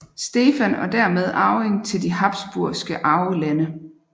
Stefan og dermed arving til de Habsburgske Arvelande